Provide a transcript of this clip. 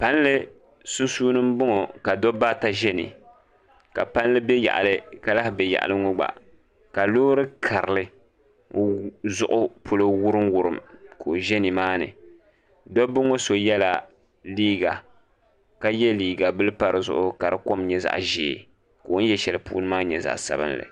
Palli sunsuuni n bɔŋɔ ka dabba ata ʒɛ ni ka palli bɛ yaɣali ka lahi bɛ yaɣali ŋɔ gba ka loori karili zuɣu polo wurim wurim ka o ʒɛ nimaani dabba ŋɔ so yɛla liiga ka yɛ liiga bili pa dizuɣu ka di kom nyɛ zaɣ ʒiɛ ka o ni yɛ shɛli puuni maa nyɛ zaɣ sabinli